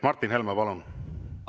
Martin Helme, palun!